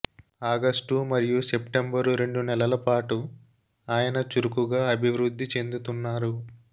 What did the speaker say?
August మరియు September రెండు నెలల పాటు ఆయన చురుకుగా అభివృద్ధి చెందుతున్నారు